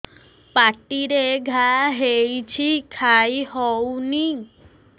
ପାଟିରେ ଘା ହେଇଛି ଖାଇ ହଉନି